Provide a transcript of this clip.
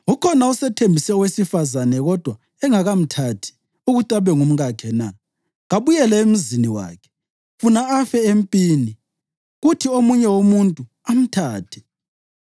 Ukhona osethembise owesifazane kodwa engakamthathi ukuthi abe ngumkakhe na? Kabuyele emzini wakhe, funa afe empini kuthi omunye umuntu amthathe’